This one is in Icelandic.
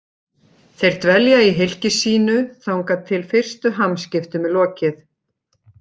Þeir dvelja í hylki sínu þangað til fyrstu hamskiptum er lokið.